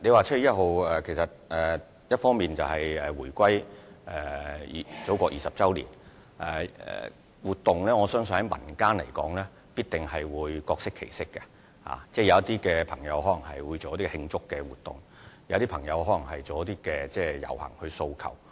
7月1日，香港回歸祖國20周年，我相信民間活動必定會各適其適，有些朋友可能會舉辦慶祝活動，有些則可能會遊行以表達訴求。